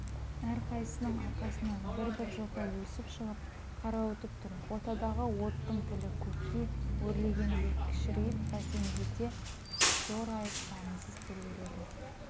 әрқайсының арқасынан бір-бір жота өсіп шығып қарауытып тұр ортадағы оттың тілі көкке өрлегенде кішірейіп бәсеңдесе зорайып дамылсыз тербеледі